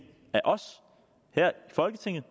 af os her i folketinget